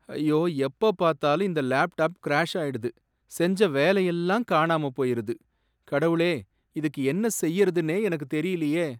ஐயோ, எப்ப பார்த்தாலும் இந்த லேப்டாப் கிராஷ் ஆயிடுது, செஞ்ச வேலையெல்லாம் காணாமப் போயிருது. கடவுளே! இதுக்கு என்ன செய்றதுன்னே எனக்குத் தெரியலயே!